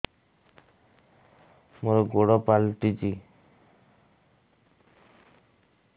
ମୋର ଗୋଡ଼ ପାଲଟିଛି